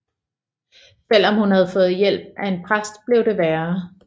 Selvom hun havde fået hjælp af en præst blev det værre